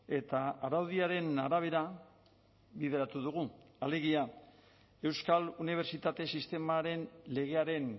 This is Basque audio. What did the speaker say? eta araudiaren arabera bideratu dugu alegia euskal unibertsitate sistemaren legearen